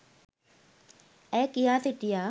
ඇය කියා සිටියා.